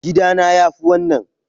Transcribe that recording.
Gida na yafi wannan.